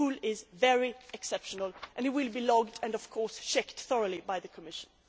norm. Pulling' is very exceptional and its use will be logged and, of course, checked thoroughly by the Commission.